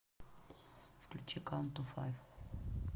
включи каунт ту файв